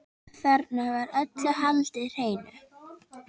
Þarna var öllu haldið hreinu.